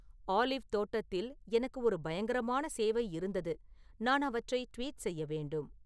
olive தோட்டத்தில் எனக்கு ஒரு பயங்கரமான சேவை இருந்தது நான் அவற்றை ட்வீட் செய்ய வேண்டும்